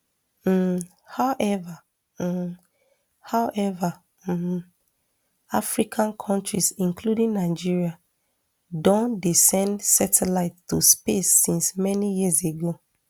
um however um however um african kontris including nigeria don dey send satelites to space since many years ago